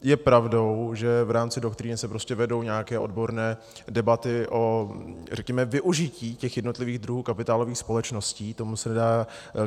Je pravdou, že v rámci doktríny se prostě vedou nějaké odborné debaty, řekněme, o využití těch jednotlivých druhů kapitálových společností.